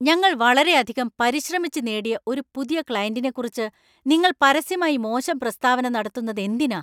ഞങ്ങൾ വളരെയധികം പരിശ്രമിച്ച് നേടിയ ഒരു പുതിയ ക്ലയന്‍റിനെക്കുറിച്ച് നിങ്ങൾ പരസ്യമായി മോശം പ്രസ്താവന നടത്തുന്നതെന്തിനാ?